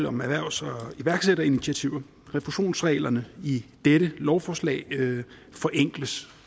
om erhvervs og iværksætterinitiativer refusionsreglerne i dette lovforslag forenkles